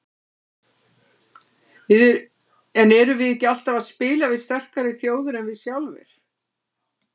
En erum við ekki alltaf að spila við sterkari þjóðir en við sjálfir?